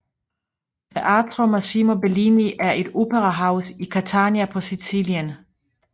Teatro Massimo Bellini er et operahus i Catania på Sicilien